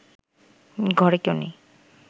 ঘরে কেউ নেই